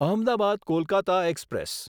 Ahmedabad Kolkata express